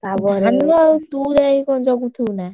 ଧାନ ଆଉ ତୁ ଯାଇକଣ ଜଗୁଥିବୁ ନା?